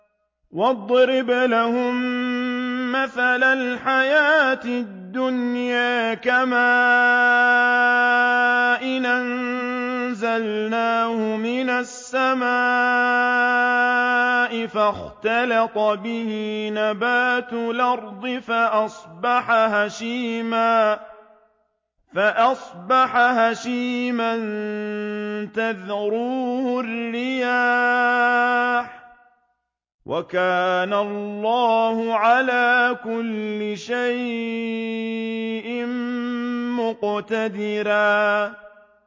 وَاضْرِبْ لَهُم مَّثَلَ الْحَيَاةِ الدُّنْيَا كَمَاءٍ أَنزَلْنَاهُ مِنَ السَّمَاءِ فَاخْتَلَطَ بِهِ نَبَاتُ الْأَرْضِ فَأَصْبَحَ هَشِيمًا تَذْرُوهُ الرِّيَاحُ ۗ وَكَانَ اللَّهُ عَلَىٰ كُلِّ شَيْءٍ مُّقْتَدِرًا